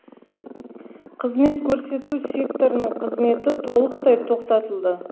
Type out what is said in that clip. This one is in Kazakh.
қызмет көрсету секторының қызметі толықтай тоқтатылады